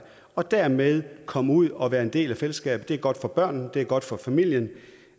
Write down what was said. og dermed komme ud og være en del af fællesskabet det er godt for børnene det er godt for familien